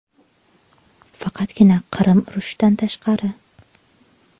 Faqatgina Qirim urushidan tashqari.